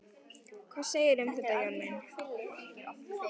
Hvað segirðu um þetta, Jón minn?